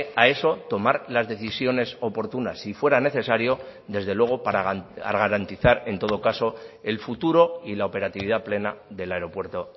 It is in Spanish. a eso tomar las decisiones oportunas si fuera necesario desde luego para garantizar en todo caso el futuro y la operatividad plena del aeropuerto